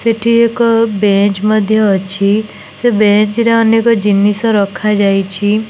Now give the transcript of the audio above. ସେଠି ଏକ ବେଞ୍ଚ ମଧ୍ଯ ଅଛି। ସେ ବେଞ୍ଚରେ ଅନେକ ଜିନିଷ ରଖାଯାଇଛି।